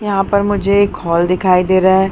यहाँ पर मुझे एक हॉल दिखाई दे रहा है।